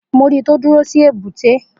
Mo ri tó dúró sí èbúté.